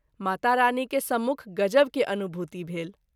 मातारानी के सम्मुख गजब के अनुभूति भेल।